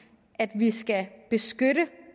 at sige at vi skal beskytte